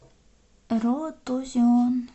роад ту зион